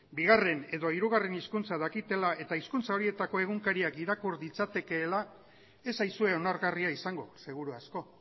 bigarren edo hirugarren hizkuntza dakitela eta hizkuntza horietako egunkariak irakur ditzaketela ez zaizue onargarria izango seguru asko